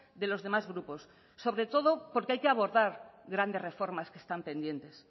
de los demás grupos sobre todo porque hay que abordar grandes reformas que están pendientes